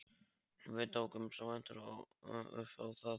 Við tókumst í hendur upp á það.